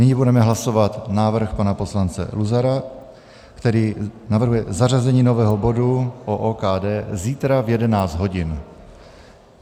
Nyní budeme hlasovat návrh pana poslance Luzara, který navrhuje zařazení nového bodu o OKD zítra v 11 hodin.